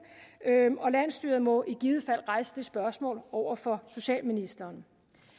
og landsstyret må i givet fald rejse det spørgsmål over for socialministeren